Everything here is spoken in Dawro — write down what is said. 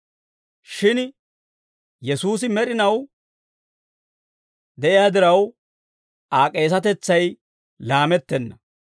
Shin Yesuusi med'inaw de'iyaa diraw, Aa k'eesetetsay laamettenna.